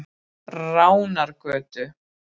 Ránargötu